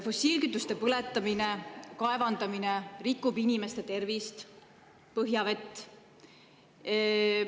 Fossiilkütuste põletamine ja kaevandamine rikub inimeste tervist ja põhjavett.